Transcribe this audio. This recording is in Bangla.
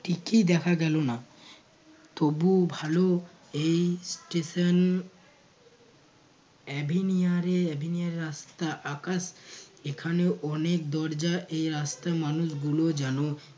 টিকি দেখা গেলো না তবুও ভালো এই station রাস্তা আকাশ এখানে অনেক দরজা এই রাস্তায় মানুষ গুলো যেন